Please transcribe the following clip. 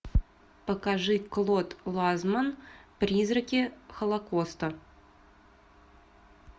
покажи клод ланцман призраки холокоста